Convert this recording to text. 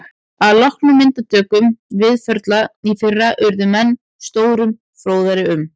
Að loknum myndatökum Víðförla í fyrra urðu menn stórum fróðari um